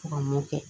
Ka mun kɛ